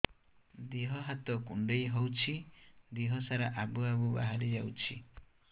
ଦିହ ହାତ କୁଣ୍ଡେଇ ହଉଛି ଦିହ ସାରା ଆବୁ ଆବୁ ବାହାରି ଯାଉଛି